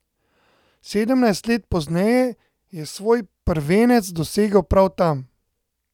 Sedemnajst let pozneje je svoj prvenec dosegel prav tam.